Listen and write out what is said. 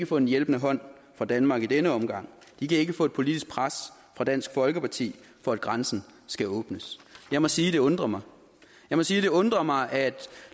få en hjælpende hånd fra danmark i denne omgang de kan ikke få et politisk pres fra dansk folkeparti for at grænsen skal åbnes jeg må sige det undrer mig jeg må sige det undrer mig at